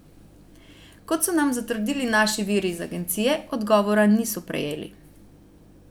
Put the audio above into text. Kot so nam zatrdili naši viri iz agencije, odgovora niso prejeli.